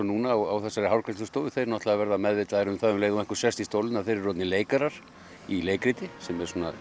núna á þessari hárgreiðslustofu verða meðvitaðir um það um leið og einhver sest í stólinn að þeir eru orðnir leikarar í leikriti sem er